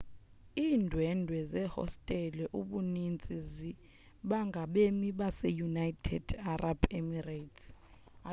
iindwendwe zehostele ubuninzi bingabemi baseunited arab emirates